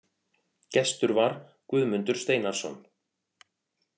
Gestur var Guðmundur Steinarsson.